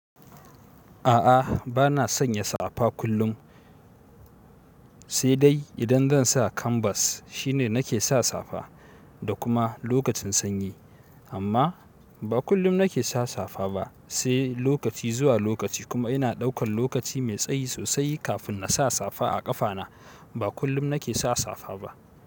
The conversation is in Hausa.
A'a, bana sanya safa kullum. Sai dai idan zan sa kanbas shine nake sa safa, da kuma lokacin sanyi. Amma ba kullum nake sa safa ba, sai lokaci zuwa lokaci kuma ina ɗaukan lokaci mai tsayi sosai kafin na sa safa a ƙafana. Ba kullum nake sa safa ba.